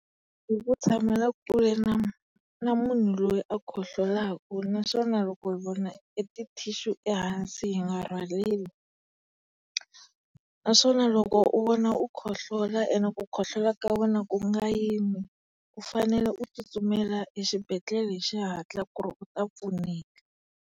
Hi ku tshamela kule na na munhu loyi a kohlolaku naswona loko hi vona e tithishu ehansi hi nga rhwaleli. Naswona loko u vona u kohlola ene ku kohlola ka wena ku nga yimi, u fanele u tsutsumela exibedhlele hi xihatla ku ri u ta pfuneka.